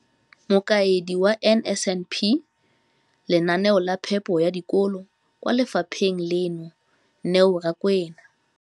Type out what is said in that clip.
Mokaedi wa NSNP kwa lefapheng leno, Neo Rakwena.